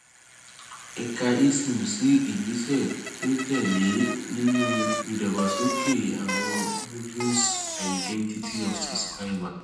a kà esim sí ìgbésẹ tó tẹ lé e nínú ìdàgbàsókè àwọn modules identity of subscriber